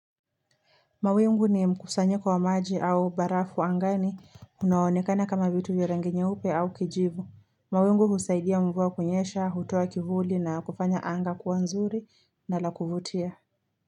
Mawingu ni mkusanyo kwa maji au barafu angani unaonekana kama vitu vya rangi nyeupe au kijivu mawingu husaidia mvua kunyesha, hutoa kivuli na kufanya anga kuwa nzuri na lakuvutia.